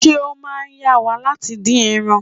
Ṣé ó máa yá wa láti dín ẹran?